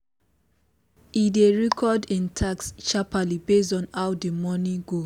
e dey record him task sharpaly based on how the morning go